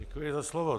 Děkuji za slovo.